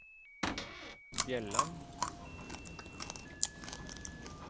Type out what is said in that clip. Bjelland